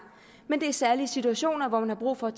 men det er særlig i situationer hvor man har brug for